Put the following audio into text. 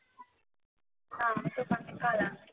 না আমি তো কানে কালা